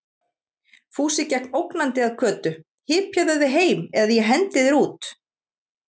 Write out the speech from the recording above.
Fúsi gekk ógnandi að Kötu: Hypjaðu þig heim eða ég hendi þér út!